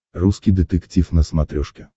русский детектив на смотрешке